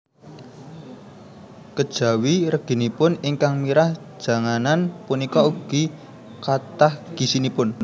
Kejawi reginipun ingkang mirah janganan punika ugi kathah gizinipun